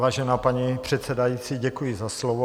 Vážená paní předsedající, děkuji za slovo.